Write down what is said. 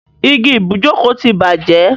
Igi ibùjókòó ti bàjẹ́.